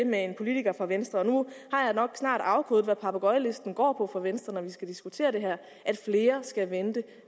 med en politiker fra venstre og nu har jeg nok snart afkodet hvad papegøjelisten går på for venstre når vi skal diskutere det her at flere skal vente